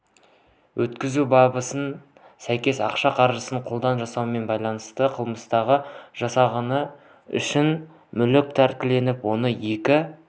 өткізу бабына сәйкес ақша қаражатын қолдан жасаумен байланысты қылмысты жасағаны үшін мүлкі тәркіленіп он екі